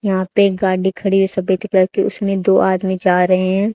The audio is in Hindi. यहां पे एक गाड़ी खड़ी है सफेद कलर के उसमें दो आदमी जा रहे हैं।